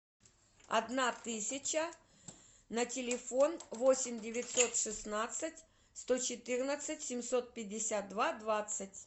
одна тысяча на телефон восемь девятьсот шестнадцать сто четырнадцать семьсот пятьдесят два двадцать